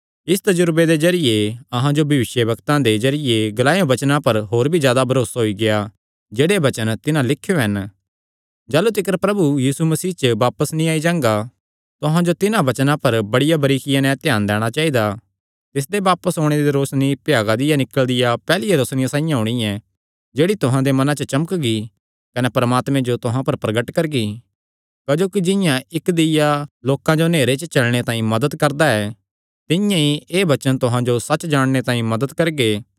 इस तजुरबे दे जरिये अहां जो भविष्यवक्तां दे जरिये ग्लायो वचनां पर होर भी जादा भरोसा होई गेआ ऐ जेह्ड़े वचन तिन्हां लिख्यो हन जाह़लू तिकर प्रभु यीशु मसीह बापस नीं आई जां तुहां जो तिन्हां वचनां पर बड़िया बरीकिया नैं ध्यान दैणा चाइदा तिसदे बापस ओणे दी रोशनी भ्यागा दिया निकल़दिया पैहल्लिया रोशनिया साइआं होणी ऐ जेह्ड़ी तुहां दे मनां च चमकगी कने परमात्मे जो तुहां पर प्रगट करगी क्जोकि जिंआं इक्क दीय्या लोकां जो नेहरे च चलणे तांई मदत करदा ऐ तिंआं ई एह़ वचन तुहां जो सच्च जाणने तांई मदत करगे